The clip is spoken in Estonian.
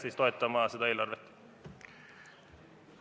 Kutsun üles seda eelarvet toetama.